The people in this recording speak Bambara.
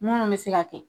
Munnu bɛ se ka kɛ